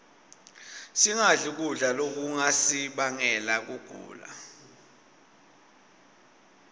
singadli kudla lokungasibangela kugula